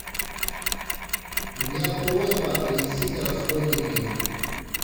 у меня просьба принесите расходники